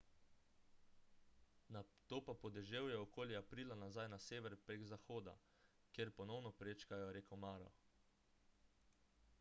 nato pa po deževju okoli aprila nazaj na sever prek zahoda kjer ponovno prečkajo reko maro